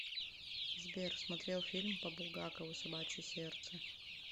сбер смотрел фильм по булгакову собачье сердце